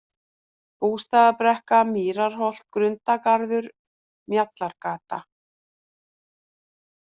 Bústaðabrekka, Mýraholt, Grundargarður, Mjallargata